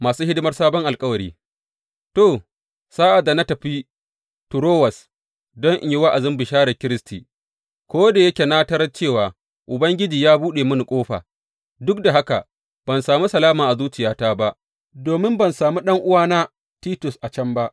Masu hidimar sabon alkawari To, sa’ad da na tafi Toruwas don in yi wa’azin bisharar Kiristi, ko da yake na tarar cewa Ubangiji ya buɗe mini ƙofa, duk da haka, ban sami salama a zuciyata ba domin ban sami ɗan’uwana Titus a can ba.